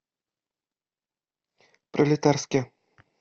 пролетарске